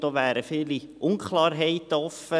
Da wären viele Unklarheiten offen.